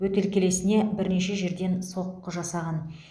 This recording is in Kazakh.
бөтелкелесіне бірнеше жерден соққы жасаған